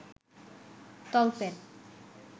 তলপেট